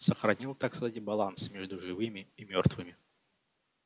сохранил так сказать баланс между живыми и мёртвыми